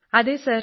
അതെ സർ